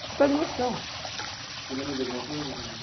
Você perde a noção Você lembra de alguma coisa que aconteceu